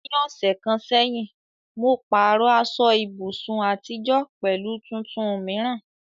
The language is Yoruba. Ní ọ̀sẹ̀ kan sẹ́yìn, mo pààrọ̀ aṣọ ibùsùn àtijọ́ pẹ̀lú tuntun mìíràn.